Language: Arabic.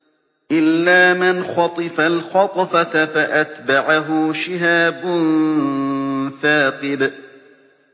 إِلَّا مَنْ خَطِفَ الْخَطْفَةَ فَأَتْبَعَهُ شِهَابٌ ثَاقِبٌ